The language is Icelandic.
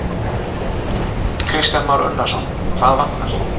Kristján Már Unnarsson: Hvað vantar?